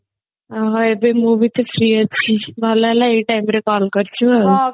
ଓଃହୋ ଏବେ ମୁଁ ବି ତ free ଅଛି ଭଲ ହେଲା ଏଇ time ରେ call କରିଛୁ ଆଉ